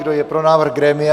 Kdo je pro návrh grémia?